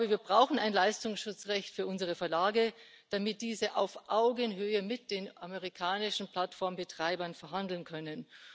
Wir brauchen ein Leistungsschutzrecht für unsere Verlage, damit diese auf Augenhöhe mit den amerikanischen Plattformbetreibern verhandeln können.